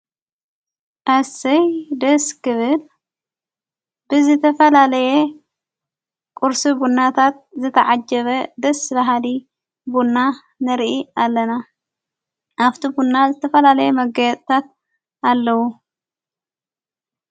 ኣስይ ደስ ክብል ብዝተፈላለየ ቊርሲ ቡናታት ዘተዓጀበ ደስ በሃሊ ቡና ነርኢ ኣለና ኣብቲ ቡና ዝተፈላለየ መገያፅታት ኣለዉ።